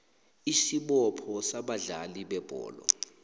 isibopho sabadlali bebholo